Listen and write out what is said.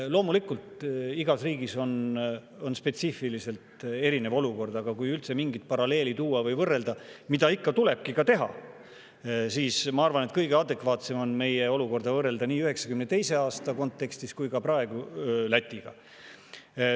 Loomulikult, igas riigis on spetsiifiliselt erinev olukord, aga kui üldse mingit paralleeli tuua või võrrelda, mida tuleb ikka ka teha, siis ma arvan, et kõige adekvaatsem on meie olukorda võrrelda nii 1992. aasta kontekstis kui ka praegu Lätiga.